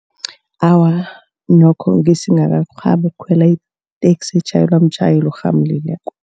Awa, nokho besingakarhabi ukukhwela iteksi etjhayelwa mtjhayeli orhamulileko.